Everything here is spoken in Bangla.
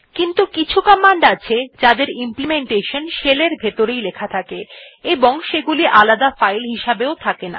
কিন্তু কিছু কমান্ড আছে যাদের ইমপ্লিমেন্টেশন shell এর ভিতরেই লেখা থাকে এবং সেগুলি আলাদা ফাইল হিসেবে থাকে না